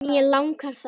Mér líkar það.